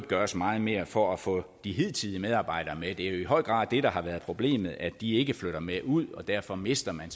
gøres meget mere for at få de hidtidige medarbejdere med det er jo i høj grad det der har været problemet altså at de ikke flytter med ud og derfor mister man